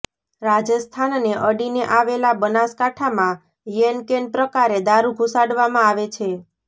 રાજસ્થાનને અડીને આવેલા બનાસકાંઠામાં યેનકેન પ્રકારે દારૂ ઘુસાડવામાં આવે છે